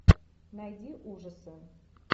найди ужасы